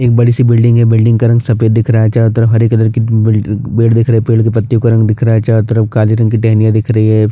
एक बडी सी बिल्डिंग है बिल्डिंग का रंग सफ़ेद दिख रहा है चारो तरफ हरे कलर के बी पेड़ दिख रहै है पेड़ के पत्तियों का रंग दिख रहा है चारो तरफ काले रंग की दहनियां दिख रही है।